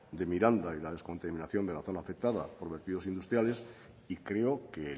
de miranda y la descontaminación de la zona afectada por vertidos industriales y creo que